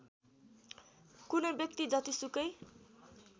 कुनै व्यक्ति जतिसुकै